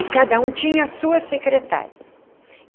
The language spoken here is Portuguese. E cada um tinha a sua secretária.